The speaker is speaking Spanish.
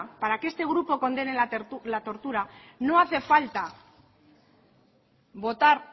para que este grupo condene la tortura no hace falta votar